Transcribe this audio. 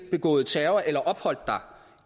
begået terror eller opholdt dig